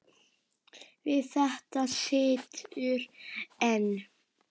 Við þetta situr enn.